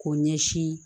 K'o ɲɛsin